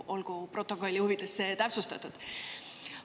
Olgu protokolli huvides see täpsustatud.